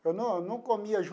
Eu não não comia